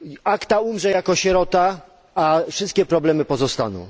ACTA umrze jako sierota, a wszystkie problemy pozostaną.